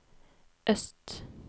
øst